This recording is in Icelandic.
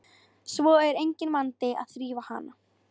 Svo er enginn vandi að þrífa hana.